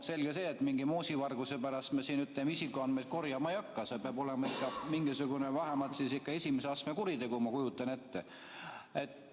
Selge see, et mingi moosivarguse pärast me siin isikuandmeid korjama ei hakka, see peab olema ikka mingisugune vähemalt esimese astme kuritegu, ma kujutan ette.